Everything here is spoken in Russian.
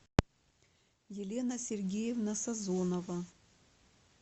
елена сергеевна сазонова